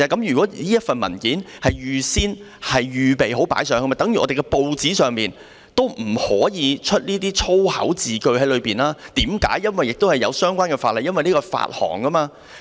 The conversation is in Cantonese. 如果這份文件是預先準備好上載到網頁的，便應等同報章上不可以出現粗口字句的情況，因為有相關的法例規管發布刊物。